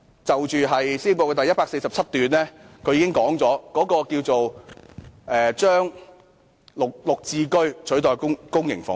施政報告第147段已經說明"應以更多的'綠置居'取代出租公屋"。